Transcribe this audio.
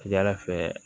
Ka ca ala fɛ